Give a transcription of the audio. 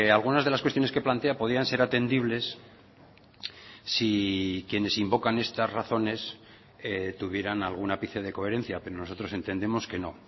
algunas de las cuestiones que plantea podían ser atendibles si quienes invocan estas razones tuvieran algún ápice de coherencia pero nosotros entendemos que no